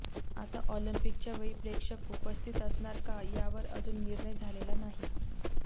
आता ऑलिम्पिकच्या वेळी प्रेक्षक उपस्थित असणार का यावर अजून निर्णय झालेला नाही